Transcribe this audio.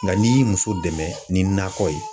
Nka n'i ye muso dɛmɛ ni nakɔ ye